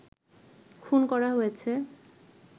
খুন করা হয়েছে